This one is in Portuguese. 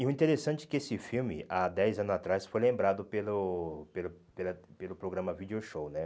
E o interessante é que esse filme, há dez anos atrás, foi lembrado pelo pelo pela pelo programa Video Show, né?